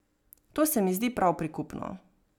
To se mi zdi prav prikupno.